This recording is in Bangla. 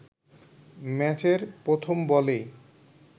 ম্যাচের প্রথম বলেই